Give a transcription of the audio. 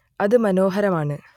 അത് മനോഹരമാണ്